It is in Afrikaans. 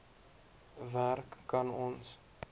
werk kan ons